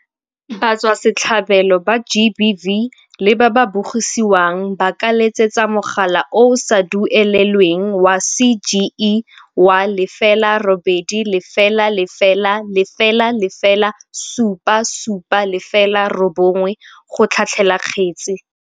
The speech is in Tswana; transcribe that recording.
Batswasetlhabelo ba GBV le ba ba bogisiwang ba ka letsetsa mogala o o sa duelelweng wa CGE wa 0800 007 709 go tlhatlhela kgetse.